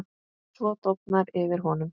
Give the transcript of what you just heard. Svo dofnar yfir honum.